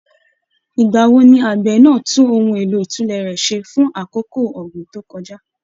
Ìgbà wo ni àgbẹ̀ náà tún ohun èlò ìtùlẹ̀ rẹ̀ ṣe fún àkókò ọ̀gbìn tó kọjá?